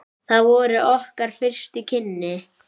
Það voru okkar fyrstu kynni.